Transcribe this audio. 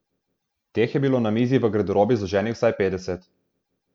Teh je bilo na mizi v garderobi zloženih vsaj petdeset.